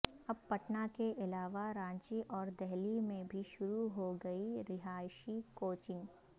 اب پٹنہ کے علاوہ رانچی اور دہلی میں بھی شروع ہوگی رہائشی کوچنگ